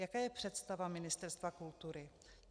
Jaká je představa Ministerstva kultury?